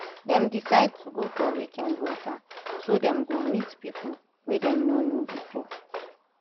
dem decide to go for weekend waka so dem go meet people wey dem no know before